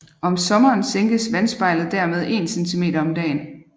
Om sommeren sænkes vandspejlet dermed 1 centimeter om dagen